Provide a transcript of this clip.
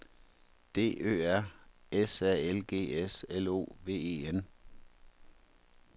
D Ø R S A L G S L O V E N